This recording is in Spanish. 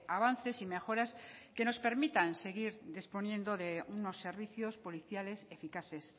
avances y mejoras que nos permitan seguir disponiendo de unos servicios policiales eficaces